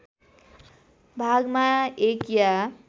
भागमा एक या